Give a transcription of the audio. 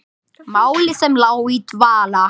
Máli sem lá í dvala!